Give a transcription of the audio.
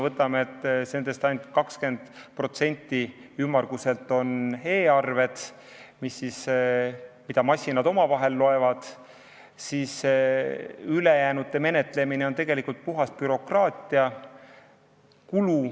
Ainult 20% on e-arved, mida masinad loevad, ülejäänute menetlemine on tegelikult puhas bürokraatiakulu.